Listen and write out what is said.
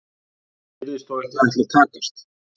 Það virðist þó ekki ætla að takast.